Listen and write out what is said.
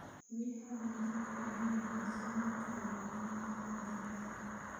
Biyaha aan nadiifka ahayn waxay saameyn karaan caafimaadka digaagga.